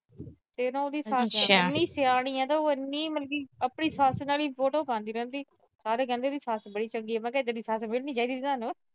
ਤੇ ਉਹਦੀ ਸੱਸ ਇੰਨੀ ਸਿਆਣੀ ਆ ਨਾ, ਇੰਨੀ ਮਤਲਬ ਆਪਣੀ ਸੱਸ ਨਾਲ ਈ ਬਹੁਤ ਉਹ ਕਰਦੀ ਰਹਿੰਦੀ। ਸਾਰੇ ਕਹਿੰਦੇ ਆ ਸੱਸ ਬੜੀ ਚੰਗੀ ਆ, ਮੈਂ ਕਿਹਾ ਇਦਾਂ ਦੀ ਸੱਸ ਮਿਲਣੀ ਚਾਹੀਦੀ ਸੀ ਤੋਨੂੰ।